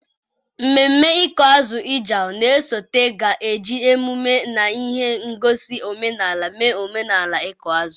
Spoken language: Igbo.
Ememme ịkụ azụ Ijaw na-esote ga-eji emume na ihe ngosi omenala mee omenala ịkụ azụ.